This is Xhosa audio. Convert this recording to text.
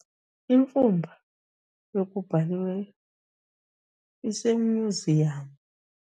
Imfumba yokubhaliweyo isemyuziyamu.